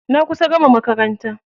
Na kusa gama makaranta.